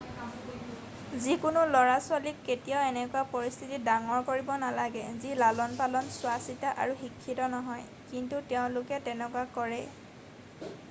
যিকোনো লৰাছোৱালীক কেতিয়াও এনেকুৱা পৰিস্থিতিত ডাঙৰ কৰিব নালাগে যি লালনপালন চোৱাচিতা আৰু শিক্ষিত নহয় কিন্তু তেওঁলোকে তেনেকুৱা কৰে ।